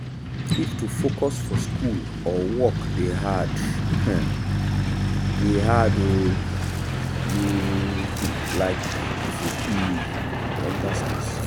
if to focus for school or work dey hard um dey hard um you um e fit be mental stress.